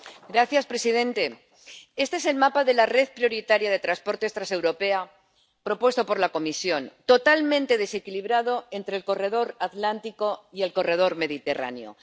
Señor presidente, este es el mapa de la red prioritaria de transportes transeuropea propuesto por la Comisión Totalmente desequilibrado entre el corredor atlántico y el corredor mediterráneo.